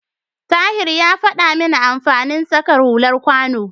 Tahir ya faɗa min amfanin saka hular kwano.